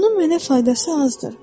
Bunun mənə faydası azdır.